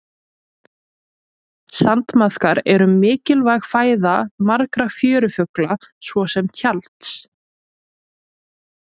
sandmaðkar eru mikilvæg fæða margra fjörufugla svo sem tjalds